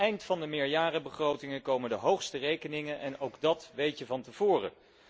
Aan het eind van de meerjarenbegrotingen komen de hoogste rekeningen en ook dat weet je van tevoren.